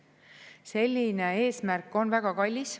Selline eesmärk on väga kallis.